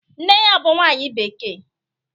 Nne ya bu nwanyi bekee?